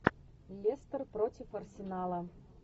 лестер против арсенала